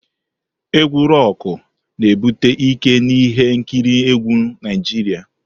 Egwu Roku na-ebute ike n'ihe nkiri egwu Naijiria.